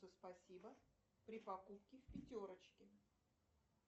спасибо при покупке в пятерочке